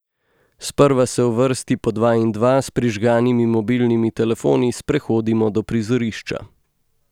Sprva se v vrsti po dva in dva, s prižganimi mobilnimi telefoni, sprehodimo do prizorišča.